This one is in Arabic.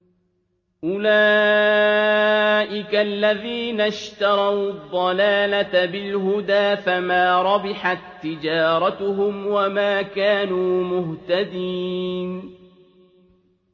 أُولَٰئِكَ الَّذِينَ اشْتَرَوُا الضَّلَالَةَ بِالْهُدَىٰ فَمَا رَبِحَت تِّجَارَتُهُمْ وَمَا كَانُوا مُهْتَدِينَ